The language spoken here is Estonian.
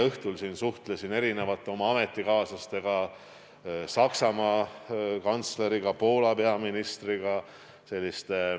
Suhtlesin sellel teemal eile õhtul välismaa ametikaaslastega, Saksamaa kantsleri ja Poola peaministriga.